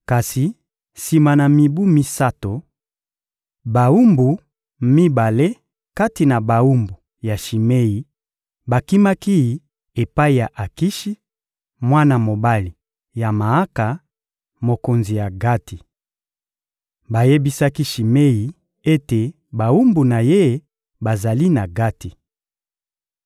Kasi sima na mibu misato, bawumbu mibale kati na bawumbu ya Shimei bakimaki epai ya Akishi, mwana mobali ya Maaka, mokonzi ya Gati. Bayebisaki Shimei ete bawumbu na ye bazali na Gati.